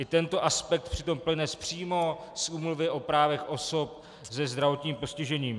I tento aspekt přitom plyne přímo z Úmluvy o právech osob se zdravotním postižením.